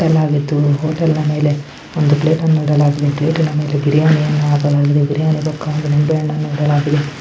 Hotel ಆಗಿತ್ತು. ಈ hotel ನ ಮೇಲೆ ಒಂದು ಪ್ಲೇಟ್ ಅನ್ನು ಇಡಲಾಗಿದೆ. ಪ್ಲೇಟ್ ಅನ ಮೇಲೆ ಬಿರಿಯಾನಿಯನ್ನ .]